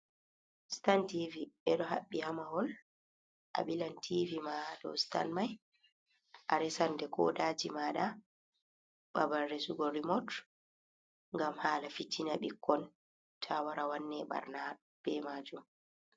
Stan tv ɓe ɗo haɓɓi ha mahol ,a ɓilan tv ma ha ɗou stan mai a resan ɗe koɗaji maɗa, ɓaɓal resugo remot gam hala fitina ɓikkon ta wara wanne ɓarna ɓe majum.